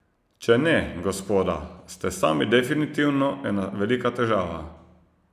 Če ne, gospoda, ste sami definitivno ena velika težava!